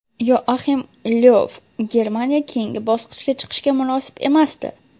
Yoaxim Lyov: Germaniya keyingi bosqichga chiqishga munosib emasdi.